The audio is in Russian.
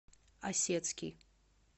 осецкий